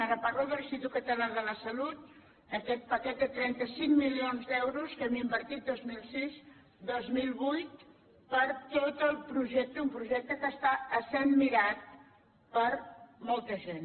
ara parlo de l’institut català de la salut aquest paquet de trenta cinc milions d’euros que hem invertit dos mil sis dos mil vuit per a tot el projecte un projecte que està essent mirat per molta gent